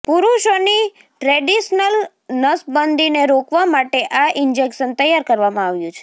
પુરુષોની ટ્રેડિશનલ નસબંદીને રોકવા માટે આ ઈન્જેક્શન તૈયાર કરવામાં આવ્યું છે